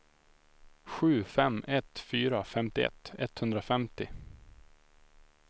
sju fem ett fyra femtioett etthundrafemtio